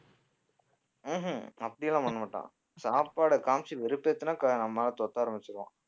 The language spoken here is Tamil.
ம்ஹும் அப்படி எல்லாம் பண்ணமாட்டான் சாப்பாடை காமிச்சு வெறுப்பேத்துனா க~ ஆரம்பிச்சிருவான்